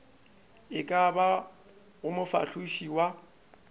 e ka bago mofahloši wa